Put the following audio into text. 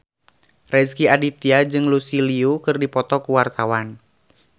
Rezky Aditya jeung Lucy Liu keur dipoto ku wartawan